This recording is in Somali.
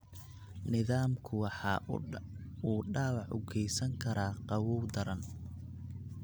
Nidaamku waxa uu dhaawac u geysan karaa qabow daran.